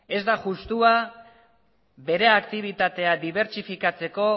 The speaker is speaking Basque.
ez da justua bere aktibitatea dibertsifikatzeko